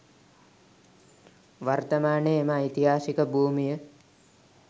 වර්තමානයේ එම ඓතිහාසික භූමිය